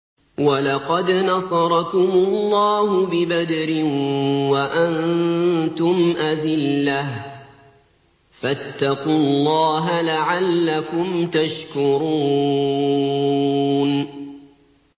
وَلَقَدْ نَصَرَكُمُ اللَّهُ بِبَدْرٍ وَأَنتُمْ أَذِلَّةٌ ۖ فَاتَّقُوا اللَّهَ لَعَلَّكُمْ تَشْكُرُونَ